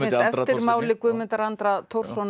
eftirmáli Guðmundar Andra